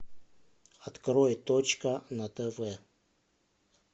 открой точка на тв